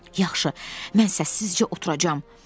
Yaxşı, mən səssizcə oturacam.